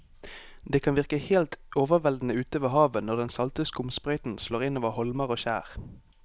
Det kan virke helt overveldende ute ved havet når den salte skumsprøyten slår innover holmer og skjær.